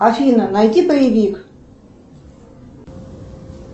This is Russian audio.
афина найди боевик